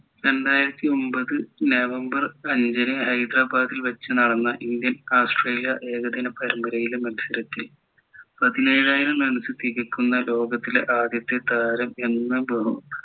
രണ്ടായിരത്തിയൊമ്പത് November അഞ്ചിന് ഹൈദരാബാദിൽ വച്ച് നടന്ന ഇന്ത്യൻ ഓസ്ട്രേലിയ ഏകദിന പരമ്പരയിലെ മത്സരത്തിൽ പതിനേഴായിരം runs തികയ്ക്കുന്ന ലോകത്തിലെ ആദ്യത്തെ താരം എന്ന